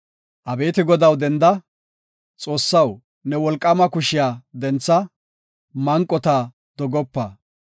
Abeeti Godaw, denda! Xoossaw, ne wolqaama kushiya dentha; manqota dogopa.